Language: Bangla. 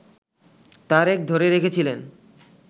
তারেক ধরে রেখেছিলেন